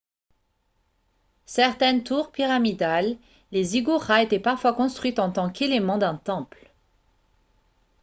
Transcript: certaines tours pyramidales les ziggourats étaient parfois construites en tant qu'éléments d'un temple